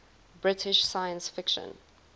british science fiction